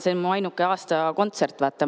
See on aastas mu ainuke kontsert.